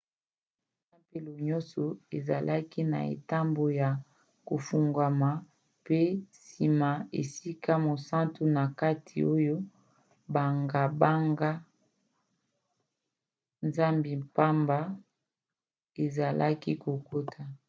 tempelo nyonso ezalaki na etando ya kofungwana pe na nsima esika mosantu na kati oyo banganga-nzambi pamba bazalaki kokota